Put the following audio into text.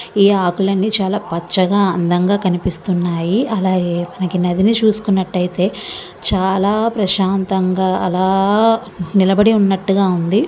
ఇక్కడ రెండు పదాలు కనిపిస్తున్నాయి. ఇక మొత్తం అన్ని కూడా తప్పుకోలు ఉన్నాయి. ఈ ఆకులని చాలా పచ్చగా అందంగా కనిపిస్తున్నాయి. అలాగే మనకి నది చూసుకున్నట్లయితే చాలా ప్రశాంతంగా అలా నిలబడి ఉన్నట్లుగా ఉంది.